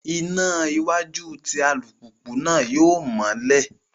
Iná iwájú tí alupupu náà yóò mọlẹ